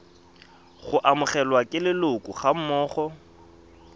go amogelwa ke leloko gammogo